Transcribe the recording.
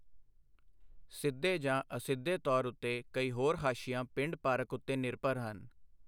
ਸਿੱਧੇ ਜਾਂ ਅਸਿੱਧੇ ਤੌਰ ਉੱਤੇ ਕਈ ਹੋਰ ਹਾਸ਼ੀਆ ਪਿੰਡ ਪਾਰਕ ਉੱਤੇ ਨਿਰਭਰ ਹਨ।